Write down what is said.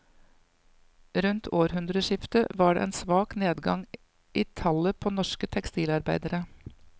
Rundt århundreskiftet var det en svak nedgang i tallet på norske tekstilarbeidere.